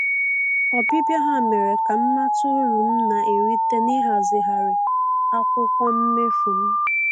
Ọbịbịa ha mere ka m mata uru m na-erita na-ịhazigharị akwụkwọ mmefu m